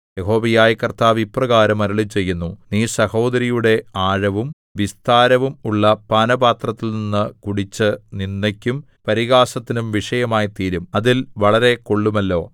യഹോവയായ കർത്താവ് ഇപ്രകാരം അരുളിച്ചെയ്യുന്നു നീ സഹോദരിയുടെ ആഴവും വിസ്താരവും ഉള്ള പാനപാത്രത്തിൽനിന്നു കുടിച്ച് നിന്ദയ്ക്കും പരിഹാസത്തിനും വിഷയമായിത്തീരും അതിൽ വളരെ കൊള്ളുമല്ലോ